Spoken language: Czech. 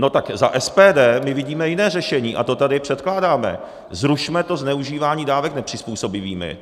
No tak za SPD my vidíme jiné řešení a to tady předkládáme - zrušme to zneužívání dávek nepřizpůsobivými.